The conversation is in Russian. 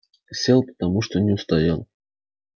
сел потому что не устоял